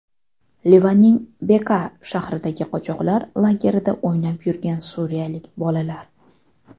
Livanning Bekaa shahridagi qochoqlar lagerida o‘ynab yurgan suriyalik bolalar.